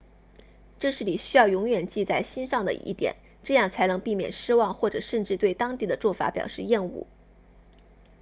这是你需要永远记在心上的一点这样才能避免失望或者甚至对当地的做法表示厌恶